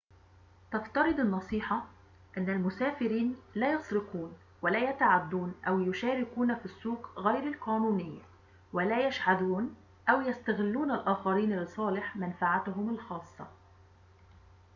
تفترض النصيحة أن المسافرين لا يسرقون ولا يتعدون أو يشاركون في السوق غير القانونية ولا يشحذون أو يستغلون الآخرين لصالح منفعتهم الخاصة